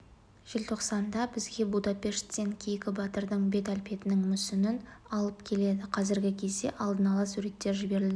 желтоқсанда бізге будапешттен кейкі батырдың бет әлпетінің мүсінін алып келеді қазіргі кезде алдын ала суреттер жіберілді